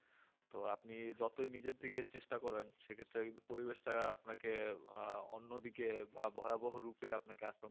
তো আপনি যতই নিজের দিকে চেষ্টা করেন সেই ক্ষেত্রে পরিবেশটা আপনাকে অন্যদিকে বা ভয়াবহ রূপে আপনাকে আক্রান্ত করতে পারে